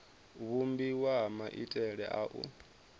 vhumbiwa ha maitele a u